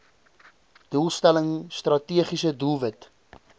doelstelling strategiese doelwit